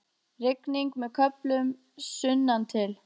Rigning með köflum sunnantil